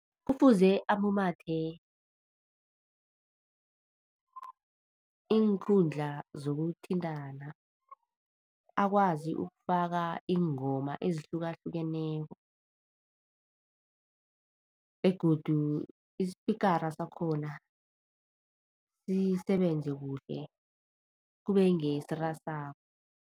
Kufuze amumathe iinkundla zokuthintana, akwazi ukufaka iingoma ezihlukahlukeneko begodu ispikara sakhona sisebenze kuhle kube ngesirasako.